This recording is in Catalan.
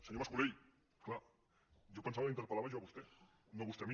senyor mas colell clar jo pensava que l’interpel·lava jo a vostè no vostè a mi